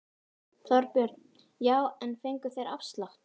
Þorbjörn: Já en fengu þeir afslátt?